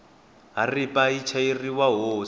haripa yi chayeriwa hosi